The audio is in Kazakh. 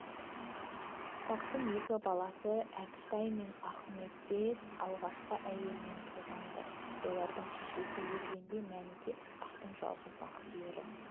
ысқақтың екі баласыкәкітай мен ахметбек алғашқы әйелінен туған-ды олардың шешесі өлгенде мәніке ысқақтың жалғыз нақ сүйері